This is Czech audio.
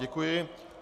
Děkuji.